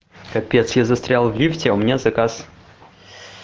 капец я застрял в лифте у меня заказ